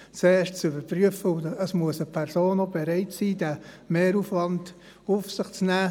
Es muss zuerst sehr viel überprüft werden, und zuerst muss eine Person überhaupt bereit sein, den Mehraufwand auf sich zu nehmen.